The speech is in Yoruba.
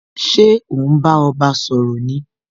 Ṣé o n bá ọba sọ̀rọ̀ ni?